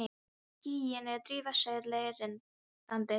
Skýin eru drifhvít segl á rennandi skipi.